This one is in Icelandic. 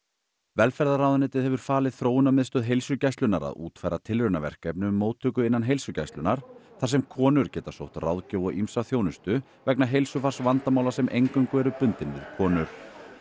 velferðarráðuneytið hefur falið Þróunarmiðstöð heilsugæslunnar að útfæra tilraunaverkefni um móttöku innan heilsugæslunnar þar sem konur geta sótt ráðgjöf og ýmsa þjónustu vegna heilsufarsvandamála sem eingöngu eru bundin við konur